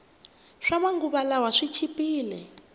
swama nguva lawa swi chipile